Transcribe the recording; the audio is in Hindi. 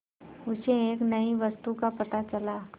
उसे एक नई वस्तु का पता चला